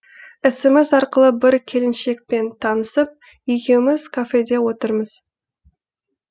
смс арқылы бір келіншекпен танысып екеуміз кафеде отырмыз